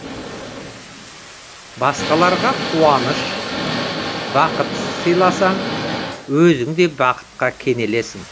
басқаларға қуаныш бақыт сыйласаң өзің де бақытқа кенелесің